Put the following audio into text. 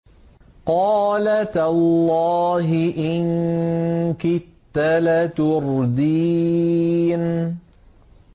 قَالَ تَاللَّهِ إِن كِدتَّ لَتُرْدِينِ